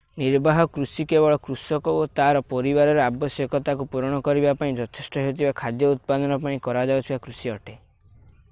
ନିର୍ବାହ କୃଷି କେବଳ କୃଷକ ଓ ତା'ର ପରିବାରର ଆବଶ୍ୟକତାକୁ ପୂରଣ କରିବା ପାଇଁ ଯଥେଷ୍ଟ ହେଉଥିବା ଖାଦ୍ୟ ଉତ୍ପାଦନ ପାଇଁ କରାଯାଉଥିବା କୃଷି ଅଟେ